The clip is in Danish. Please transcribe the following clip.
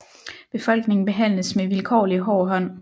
Befolkningen behandles med vilkårlig hård hånd